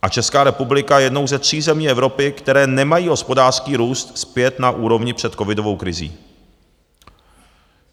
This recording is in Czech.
A Česká republika je jednou ze tří zemí Evropy, které nemají hospodářský růst zpět na úrovni před covidovou krizí.